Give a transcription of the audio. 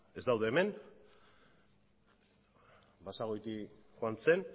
ez daude hemen basagoiti joan zen